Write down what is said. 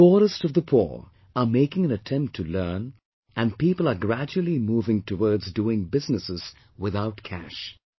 The poorest of the poor are making an attempt to learn, and people are gradually moving towards doing businesses without cash